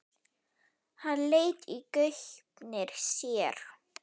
Hann leit í gaupnir sér.